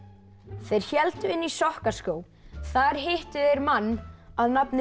þeir héldu inn í Sokkaskóg þar hittu þeir mann að nafni